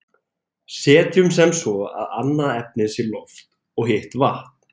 setjum sem svo að annað efnið sé loft og hitt vatn